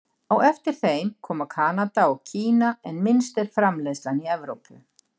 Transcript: Á eftir þeim koma Kanada og Kína en minnst er framleiðslan í Evrópu.